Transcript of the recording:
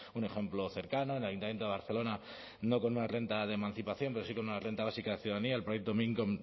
un ejemplo cercano en el ayuntamiento de barcelona no con una renta de emancipación pero sí con una renta básica de ciudadanía el proyecto b mincome